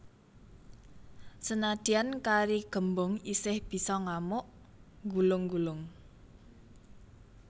Senadyan kari gembung isih bisa ngamuk nggulung nggulung